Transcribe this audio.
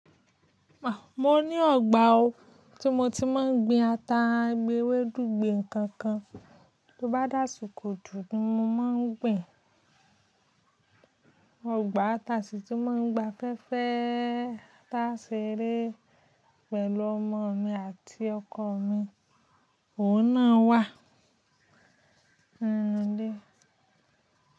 Mo ní ọgbà o tí mo ti máa ń gbin ata, gbin ewédú, gbin nǹkan kan tó bá dàsìkò òjò, mo máa ń gbin. Ọgbà tàṣí tí mo ń gba fẹ́fẹ́ tàa ṣe eré pẹ̀lú ọmọ mi àti ọkọ mi, òun náà wà. Nílé.